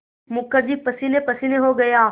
मुखर्जी पसीनेपसीने हो गया